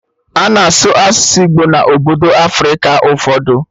Ana asụ asụsụ Igbo na obodo Africa ụfọdụ